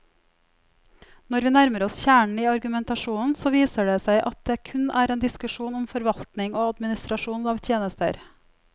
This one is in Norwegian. Når vi nærmer oss kjernen i argumentasjonen, så viser det seg at det kun er en diskusjon om forvaltning og administrasjon av tjenester.